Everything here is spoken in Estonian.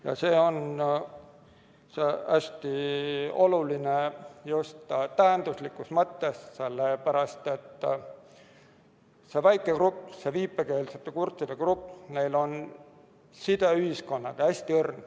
Ja see on hästi oluline just tähenduslikus mõttes, sellepärast et see väike grupp, viipekeelsete kurtide grupp, neil on side ühiskonnaga hästi õrn.